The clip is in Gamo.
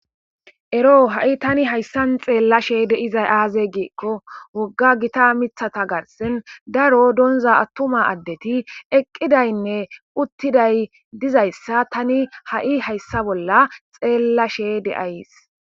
Ero ha7i tani hayssan xeellashe deizay aaze giikko wogga gita mithata garsen daro donza attuma addeti eqqidaynne uttiday dizayssa tani ha7i hayssa bolla xeellashe deays.